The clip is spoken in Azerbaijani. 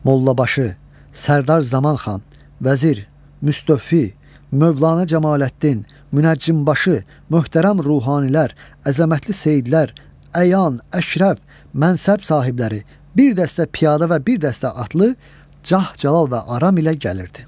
Mollabaşı, Sərdar Zaman xan, vəzir, Müstövfi, Mövlana Cəmaləddin, münəccimbaşı, möhtərəm ruhanilər, əzəmətli Seyidlər, əyan, əşrəf, mənsəb sahibləri, bir dəstə piyada və bir dəstə atlı cah-cəlal və aram ilə gəlirdi.